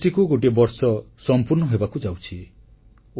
GSTକୁ ଗୋଟିଏ ବର୍ଷ ସମ୍ପୂର୍ଣ୍ଣ ହେବାକୁ ଯାଉଛି